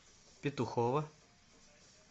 петухово